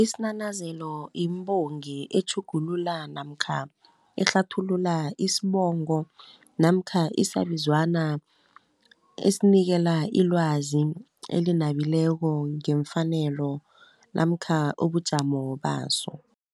Isinanazelo yimbongi etjhugulula, namkha ehlathulula isbongo, namkha isabizwana esinikela ilwazi elinabileko ngemfanelo namkha ubujamo baso.